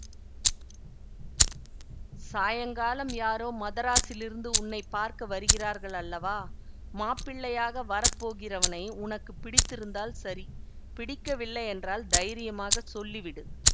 சாயங்காலம் யாரோ மதராஸிலிருந்து உன்னை பார்க்க வருகிறார்கள் அல்லவா மாப்பிள்ளையாக வரப்போகிறவனை உனக்கு பிடித்திருந்தால் சரி பிடிக்கவில்லையென்றால் தைரியமாகச் சொல்லிவிடு